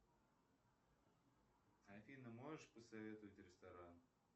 афина можешь посоветовать ресторан